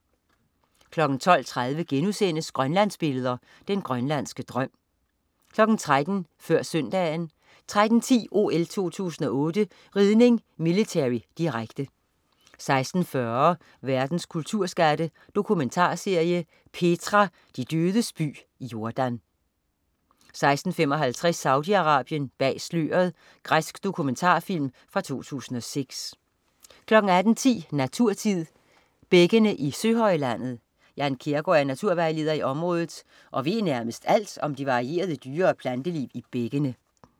12.30 Grønlandsbilleder. Den grønlandske drøm* 13.00 Før Søndagen 13.10 OL 2008: Ridning, military. Direkte 16.40 Verdens kulturskatte. Dokumentarserie. "Petra", de dødes by, Jordan 16.55 Saudi-Arabien, bag sløret. Græsk dokumentarfilm fra 2006 18.10 Naturtid. Bækkene i Søhøjlandet. Jan Kjærgaard er naturvejleder i området og ved nærmest alt om det varierede dyre- og planteliv i bækkene